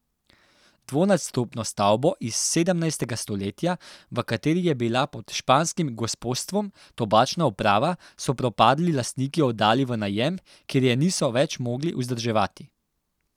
Dvonadstropno stavbo iz sedemnajstega stoletja, v kateri je bila pod španskim gospostvom Tobačna uprava, so propadli lastniki oddali v najem, ker je niso več mogli vzdrževati.